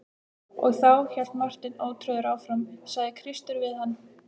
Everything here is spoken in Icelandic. Og þá, hélt Marteinn ótrauður áfram,-sagði Kristur við hann.